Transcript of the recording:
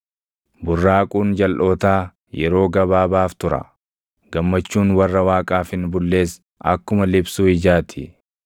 Burraaquun jalʼootaa yeroo gabaabaaf tura; gammachuun warra Waaqaaf hin bullees akkuma liphsuu ijaa ti.